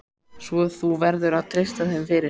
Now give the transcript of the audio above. Svo þú verður að treysta þeim fyrir.